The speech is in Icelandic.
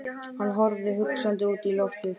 Hann horfði hugsandi út í loftið.